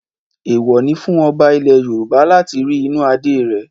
Èèwọ̀ ni fún ọba ilẹ̀ Yorùbá láti rí inú Adé rẹ̀.